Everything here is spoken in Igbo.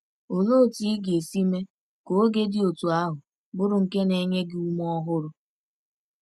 Olee otú ị ga-esi mee ka oge dị otú ahụ bụrụ nke na-enye gị ume ọhụrụ?